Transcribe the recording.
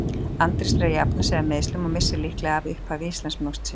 Andrés er að jafna sig af meiðslum og missir líklega af upphafi Íslandsmótsins.